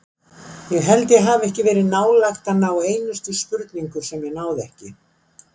Ég held ég hafi ekki verið nálægt að ná einustu spurningu sem ég náði ekki.